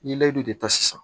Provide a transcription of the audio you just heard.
N ye layidu de ta sisan